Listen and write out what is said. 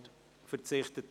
– Auch er verzichtet.